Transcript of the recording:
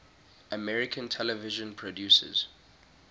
american television producers